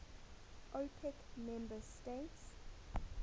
opec member states